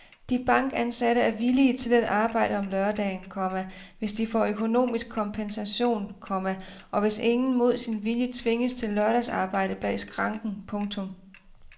De bankansatte er villige til at arbejde om lørdagen, komma hvis de får økonomisk kompensation, komma og hvis ingen mod sin vilje tvinges til lørdagsarbejde bag skranken. punktum